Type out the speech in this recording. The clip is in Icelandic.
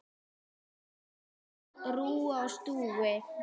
Allt á rúi og stúi.